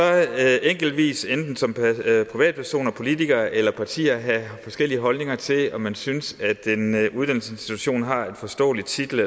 enkeltvis enten som privatperson politiker eller parti have forskellige holdninger til om man synes at en uddannelsesinstitution har en forståelig titel